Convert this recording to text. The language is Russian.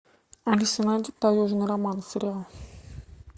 алиса найди таежный роман сериал